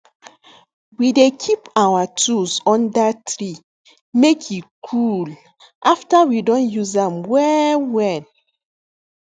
we dey keep our tools under tree make e cool after we don use am well well